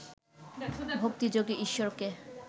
ভক্তিযোগে ঈশ্বরকে